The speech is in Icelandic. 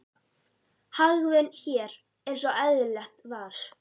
Hagvön hér eins og eðlilegt var.